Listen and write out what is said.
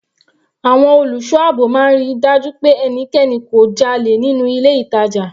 Àwọn olùṣọ́ àbò máa ń ríi dájú pé ẹnikẹni kò dálẹ̀ nínú ilé ìtàjà.